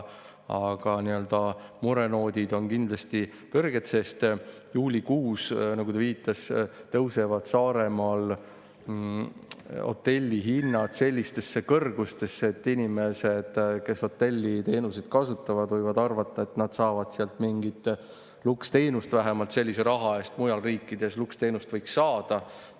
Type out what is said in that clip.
Aga murenoodid on kindlasti kõrged, sest juulikuus, nagu ta viitas, tõusevad Saaremaal hotellihinnad sellistesse kõrgustesse, et inimesed, kes hotelliteenuseid kasutavad, võivad arvata, et nad saavad sealt mingit luksteenust, vähemalt sellise raha eest võiks mujal riikides luksteenust saada.